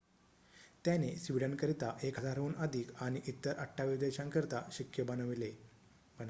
त्याने स्वीडनकरिता 1,000 हून अधिक आणि इतर 28 देशांकरिता शिक्के बनवले